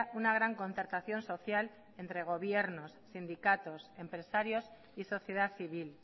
una gran concertación social entre gobiernos sindicatos empresarios y sociedad civil